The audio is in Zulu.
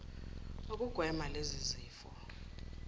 ukugwema lezi zifo